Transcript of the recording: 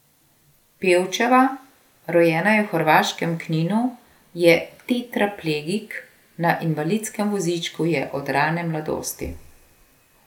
Pevčeva, rojena je v hrvaškem Kninu, je tetraplegik, na invalidskem vozičku je od rane mladosti.